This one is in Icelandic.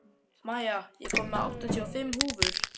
Maja, ég kom með áttatíu og fimm húfur!